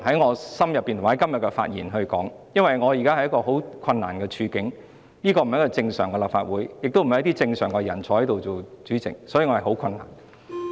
我現時身在一個十分困難的處境，立法會已非正常的立法會，也並非由正常人在此擔任主席，所以我感到很困難。